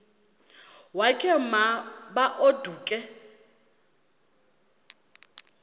wakhe ma baoduke